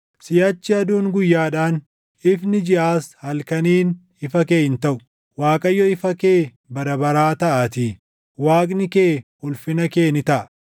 Siʼachi aduun guyyaadhaan, ifni jiʼaas halkaniin ifa kee hin taʼu; Waaqayyo ifa kee bara baraa taʼaatii; Waaqni kee ulfina kee ni taʼa.